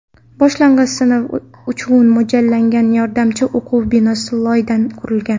Boshlang‘ich sinf uchun mo‘ljallangan yordamchi o‘quv binosi loydan qurilgan.